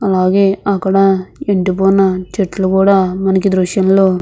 అలాగే అక్కడ ఇంటి పైన చెట్లు కూడా మనకి దృశ్యంలో --